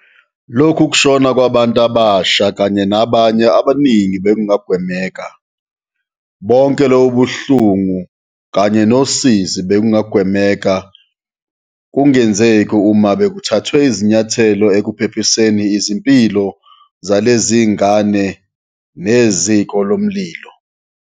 Lokhu kushona kwabantu abasha kanye nabanye abaningi bekungagwemeka. Bonke lobu buhlungu kanye nosizi bebungagwemeka kungenzeki uma bekuthathwe izinyathelo ekuphephiseni izimpilo zalezi zingane neziko lomlilo.